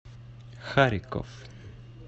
харьков